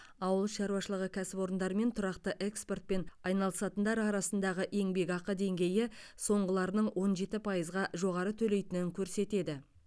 ауыл шаруашылығы кәсіпорындары мен тұрақты экспортпен айналысатындар арасындағы еңбекақы деңгейі соңғыларының он жеті пайызға жоғары төлейтінін көрсетеді